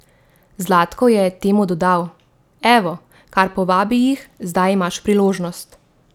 Zlatko je temu dodal: 'Evo, kar povabi jih, zdaj imaš priložnost.